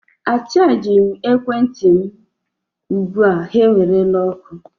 Achajighị m ekwentị m ugbu a ha ewerela ọkụ.